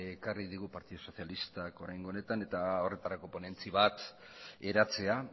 ekarri digu partidu sozialistak oraingo honetan eta horretarako ponentzia bat eratzea